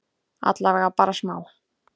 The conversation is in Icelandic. Allavega bara smá?